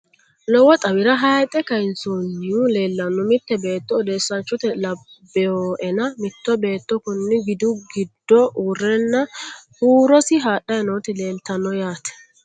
Lowo xawira hayiixe kayiinsoyihu leellanno. Mitte beetto odeesanchote lanboena mitto beetto konni gidu giddo uurrenna huurosi hadhayi nooti leeltanno yaate.